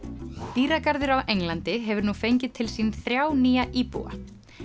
dýragarður á Englandi hefur nú fengið til sín þrjá nýja íbúa